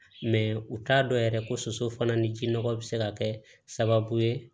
u t'a dɔn yɛrɛ ko soso fana ni ji nɔgɔ bɛ se ka kɛ sababu ye